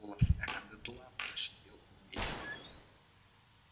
голос реддла прошипел убей его